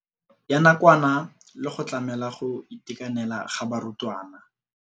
Ya nakwana le go tlamela go itekanela ga barutwana.